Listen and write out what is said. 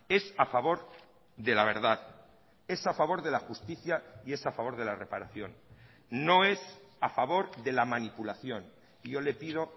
es a favor de la verdad es a favor de la justicia y es a favor de la reparación no es a favor de la manipulación yo le pido